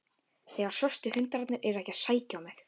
Þegar svörtu hundarnir eru ekki að sækja á mig.